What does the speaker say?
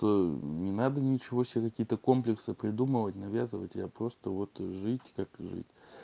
то не надо ничего себе какие-то комплекса придумывать навязывать а просто вот жить как ээ